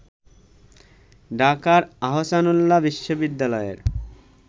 ঢাকার আহসানউল্লাহ বিশ্ববিদ্যালয়ের